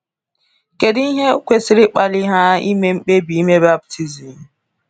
Kedu ihe kwesịrị ịkpali ha ime mkpebi ịme baptizim?